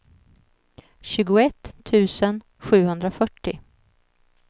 tjugoett tusen sjuhundrafyrtio